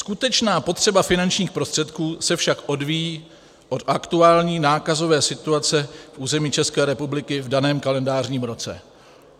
Skutečná potřeba finančních prostředků se však odvíjí od aktuální nákazové situace na území České republiky v daném kalendářním roce.